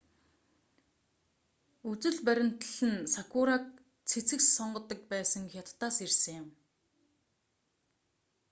энэ үзэл баримтлал нь сакураг цэцэгс сонгодог байсан хятадаас ирсэн юм